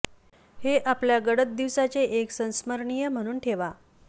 हे आपल्या गडद दिवसांचे एक संस्मरणीय म्हणून ठेवा